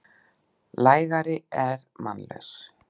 lægari er mannlaus.